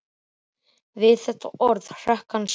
Við þetta orð hrökk hann saman.